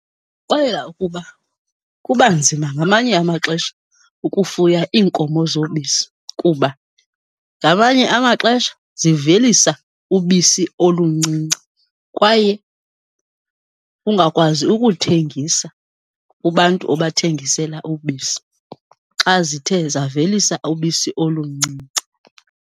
Ukuba kuba nzima ngamanye amaxesha ukufuya iinkomo zobisi kuba ngamanye amaxesha zivelisa ubisi oluncinci, kwaye ungakwazi ukuthengisa kubantu obathengisela ubisi, xa zithe zavelisa ubisi oluncinci.